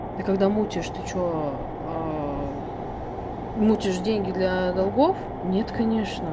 ты когда мутишь ты что мутишь деньги для долгов нет конечно